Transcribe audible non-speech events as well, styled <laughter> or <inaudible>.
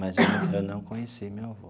Mas eu <coughs> eu não conheci meu avô.